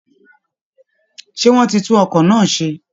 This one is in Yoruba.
Ṣé wọ́n ti tún ọkọ̀ náà ṣe